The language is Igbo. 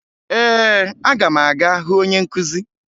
Ee, aga m aga hụ onye nkụzi